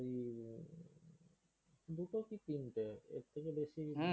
দুটো কি তিনটে। এর থেকে বেশি